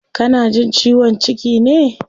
Kana jin ciwon ciki ne?